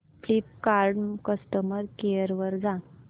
Flipkart customer care वर जा